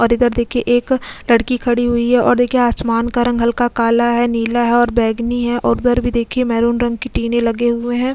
और इधर देखिये एक लड़की खड़ी हुई है और देखिए आसमान का रंग हल्का काला है नीला है और बेगनी है और घर भी देखिए मैरून रंग की टीने लगे हुए हैं।